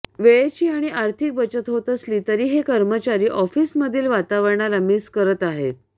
वेळेची आणि आर्थिक बचत होत असली तरी हे कर्मचारी ऑफिसमधील वातावरणाला मिस करत आहेत